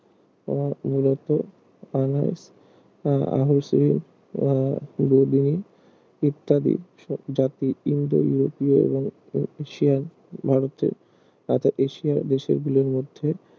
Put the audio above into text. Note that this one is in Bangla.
তোমার মূলত আনাস আহ আহুসি ইত্যাদি সব জাতি ইন্দো ইউরোপীয় এশিয়ান ভারতে তথা এশিয়া দেশগুলোর মধ্যে